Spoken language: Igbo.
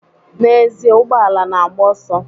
Na'ezie, ụgbọala na-agba ọsọ